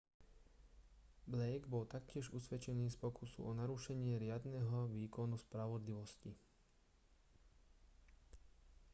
blake bol taktiež usvedčený z pokusu o narušenie riadneho výkonu spravodlivosti